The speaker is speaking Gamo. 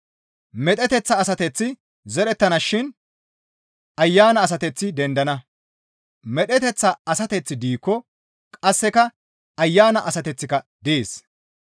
Medheteththa asateththi zerettana shin Ayana asateththi dendana; medheteththa asateththi diikko qasseka Ayana asateththika dees.